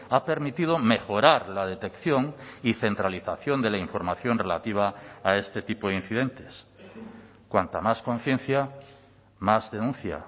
ha permitido mejorar la detección y centralización de la información relativa a este tipo de incidentes cuanta más conciencia más denuncia